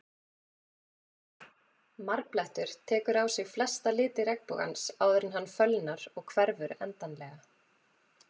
Marblettur tekur á sig flesta liti regnbogans áður en hann fölnar og hverfur endanlega.